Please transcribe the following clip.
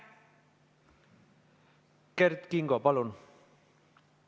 Kert Kingo, palun!